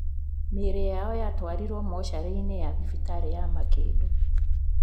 Mĩĩrĩ yao yatwarirwo mocarĩ-inĩ ya thibitarĩ wa Makindu.